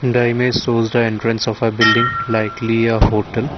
the image shows the entrance of a building likely a hotel.